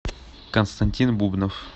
константин бубнов